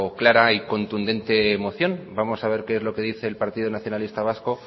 clara y contundente moción vamos a ver lo qué dice el partido nacionalista vasco